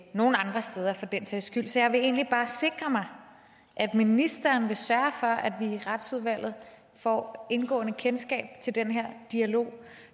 nogen andre steder for den sags skyld så jeg vil egentlig bare sikre mig at ministeren vil sørge for at vi i retsudvalget får et indgående kendskab til den her dialog